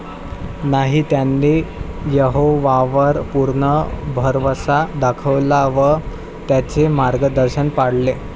नाही, त्यांनी यहोवावर पूर्ण भरवसा दाखवला व त्याचे मार्गदर्शन पाळले.